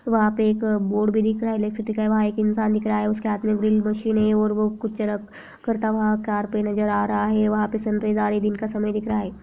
वहां पे एक बोर्ड भी दिख रहा है इलेक्ट्रिसिटी का वहां एक इंसान दिख रहा है उसके हाथ में ड्रिल मशीन है और वो कुछ करता हुआ कार पे नजर आ रहा है वहां पे जा रहे दिन का समय दिख रहा।